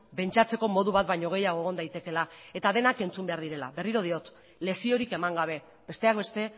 pentsatzeko modu bat baino gehiago egon daitekeela eta denak entzun behar direla berriro diot leziorik eman gabe besteak beste